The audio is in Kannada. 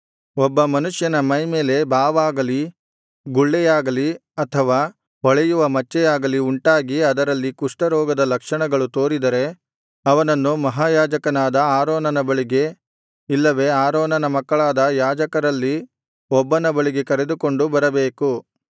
ಒಬ್ಬ ಮನುಷ್ಯನ ಮೈಮೇಲೆ ಬಾವಾಗಲಿ ಗುಳ್ಳೆಯಾಗಲಿ ಅಥವಾ ಹೊಳೆಯುವ ಮಚ್ಚೆಯಾಗಲಿ ಉಂಟಾಗಿ ಅದರಲ್ಲಿ ಕುಷ್ಠರೋಗದ ಲಕ್ಷಣಗಳು ತೋರಿದರೆ ಅವನನ್ನು ಮಹಾಯಾಜಕನಾದ ಆರೋನನ ಬಳಿಗೆ ಇಲ್ಲವೆ ಆರೋನನ ಮಕ್ಕಳಾದ ಯಾಜಕರಲ್ಲಿ ಒಬ್ಬನ ಬಳಿಗೆ ಕರೆದುಕೊಂಡು ಬರಬೇಕು